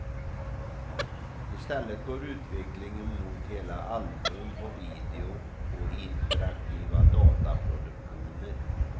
I stället går utvecklingen mot hela album på video och interaktiva dataproduktioner.